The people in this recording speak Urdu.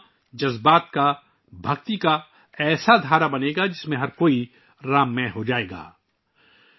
یہ مجموعہ جذبے، بھکتی کی ایسی لہر میں تبدیل ہوجائے گا جس میں ہر کوئی رام مئے ہو جائے گا